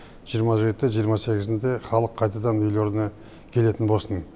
жиырма жеті жиырма сегізінде халық қайтадан үйлеріне келетін болсын